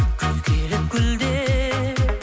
күз келіп гүлдер